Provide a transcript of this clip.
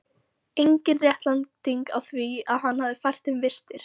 Engin réttlæting á því að hann hefði fært þeim vistir.